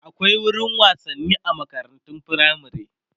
akwai wurin wasanni a makarantun firamare